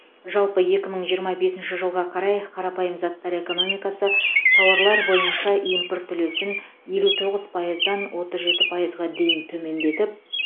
жалпы екі мың жиырма бесінші жылға қарай қарапайым заттар экономикасы тауарлар бойынша импорт үлесін елу тоғыз пайыздан отыз жеті пайызға дейін төмендетіп